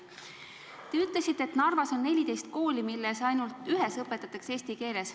Te ütlesite, et Narvas on 14 kooli, milles ainult ühes õpetatakse eesti keeles.